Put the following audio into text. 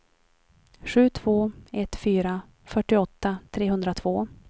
sju två ett fyra fyrtioåtta trehundratvå